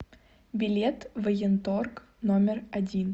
билет военторг номер один